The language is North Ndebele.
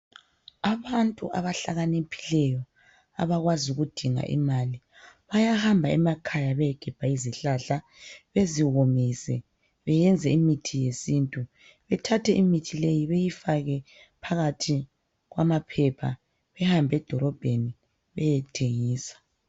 Abantu abahlakaniphileyo , abakwazi ukudinga imali, bayahamba emakhaya beyegebha izihlahla beziwomise beyenze imithi yesintu bethathe imithi leyi beyifake phakathi kwamaphepha behambe edolobheni beyethengisa.